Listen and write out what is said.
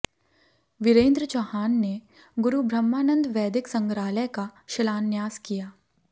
विरेन्द्र चौहान ने गुरु ब्रहमानंद वैदिक संग्रहालय का शिलान्यास किया